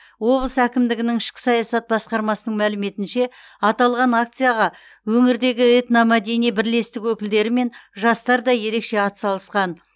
облыс әкімдігінің ішкі саясат басқармасының мәліметінше аталған акцияға өңірдегі этномәдени бірлестік өкілдері мен жастар да ерекше атсалысқан